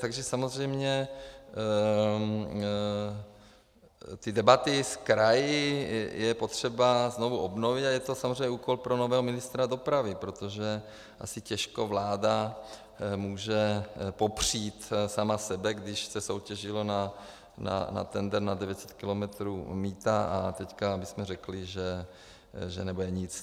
Takže samozřejmě ty debaty s kraji je potřeba znovu obnovit a je to samozřejmě úkol pro nového ministra dopravy, protože asi těžko vláda může popřít sama sebe, když se soutěžilo na tendr na 900 kilometrů mýta a teď bychom řekli, že nebude nic.